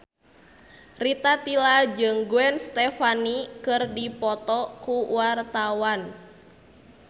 Rita Tila jeung Gwen Stefani keur dipoto ku wartawan